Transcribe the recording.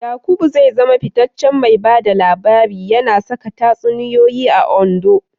Yaqub zai zama fitaccen mai ba da labari, yana saka tatsuniyoyi a Ondo.